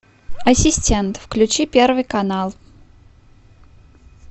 ассистент включи первый канал